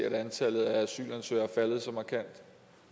at antallet af asylansøgere er faldet så markant